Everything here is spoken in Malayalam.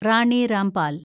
റാണി രാംപാൽ